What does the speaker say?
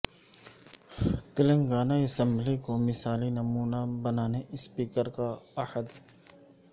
Telangana assembly کو مثالی نمونہ بنانے اسپیکر کا عہد